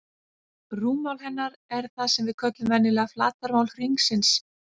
Rúmmál hennar er það sem við köllum venjulega flatarmál hringsins.